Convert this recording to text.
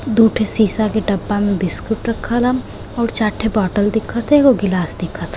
दू ठे सीसा के डब्बा में बिस्कुट रखल ह और चार ठो बोतल दिखत ह एगो गिलास दिखत ह।